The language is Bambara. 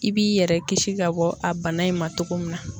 I b'i yɛrɛ kisi ka bɔ a bana in ma togo min na.